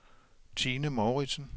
Tine Mouritsen